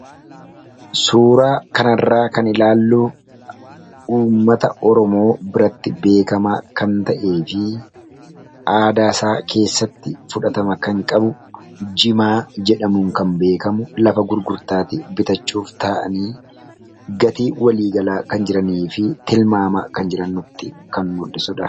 Suuraa kana irraa kan ilaalluu irra caalaa uummata Oromoo Harargee biratti beekamaa kan ta'ee fi aadaa isaa keessatti fudhatama kan qabu jimaa kan ta'ee fi bakka gurgurtaa irratti namoonni gatii isaa irratti walii galaa kan jiranii dha.